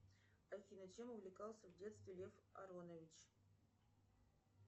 афина чем увлекался в детстве лев аронович